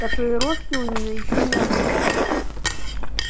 татуировки у неё ещё не было